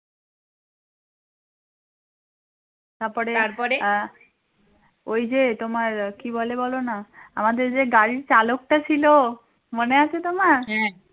ওই যে তোমার কী বলে বল না আমাদের যে গাড়ির চালক টা ছিল মনে আছে তোমার?